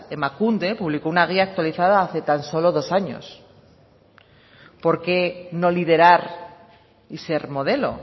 emakunde publicó una guía actualizada hace tan solo dos años por qué no liderar y ser modelo